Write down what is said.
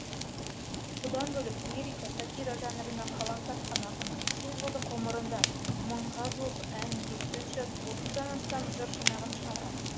бұдан бөлек лирика сатира жанрына қалам тартқан ақын жылдық ғұмырында ға жуық әнге сөз жазып дан астам жыр жинағын шығарған